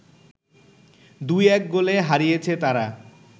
২-১ গোলে হারিয়েছে তারা